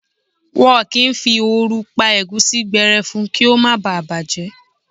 Wọn kì í fi ooru pa ẹ̀gúsí gbẹrẹfu kí ó má ba à bàjẹ́.